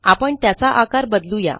आपण त्याचा आकार बदलू या